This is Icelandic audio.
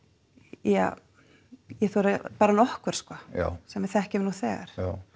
ja ég þori bara nokkur sem við þekkjum nú þegar já